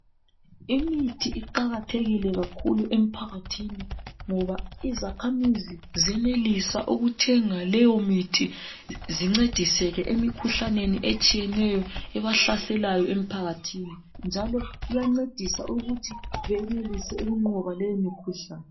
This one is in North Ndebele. Imithi iqakathekile kakhulu emphakathini ngoba izakhamizi ziyenelisa ukuthenga leyo mithi zincediseke emkhuhlaneni etshiyeneyo ebahlaselayo emphakathini njalo iyancedisa ukuthi benelise ukunqoba leyo mikhuhlane.